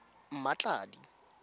mmatladi